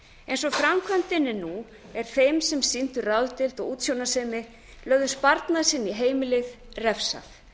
eins og framkvæmdin er nú er þeim sem sýndu ráðdeild og útsjónarsemi lögðu sparnað sinn í heimilið refsað